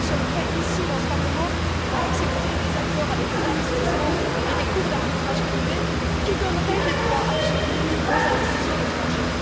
Or nous sommes prêts, ici, dans ce Parlement, à accepter des accords avec des investissements et des cours d'arbitrage privés qui donneraient des droits absolus aux investisseurs étrangers.